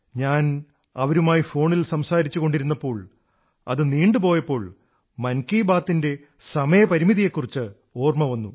ഞാൻ അവരുമായി ഫോണിൽ സംസാരിച്ചുകൊണ്ടിരുന്നപ്പോൾ അത് നീണ്ടു പോയപ്പോൾ മൻ കീ ബാത്തിന്റെ സമയപരിമിതിയെക്കുറിച്ച് ഓർമ്മ വന്നു